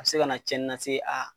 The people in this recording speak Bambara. A be se ka na cɛnni la se a